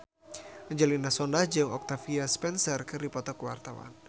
Angelina Sondakh jeung Octavia Spencer keur dipoto ku wartawan